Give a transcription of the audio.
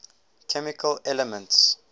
chemical elements